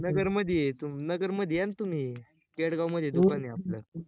नगर मध्ये ये तू नगर मध्ये या ना तुम्ही, खेडगाव मध्ये दुकान आहे आपल